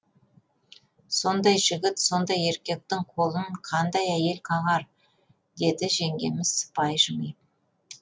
сондай жігіт сондай еркектің қолын қандай әйел қағар деді жеңгеміз сыпайы жымиып